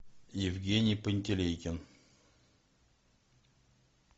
евгений пантелейкин